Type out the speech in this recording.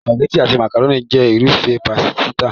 Sìpàgẹ́tì àti màkàrónì jẹ́ irúfẹ́ pásítà.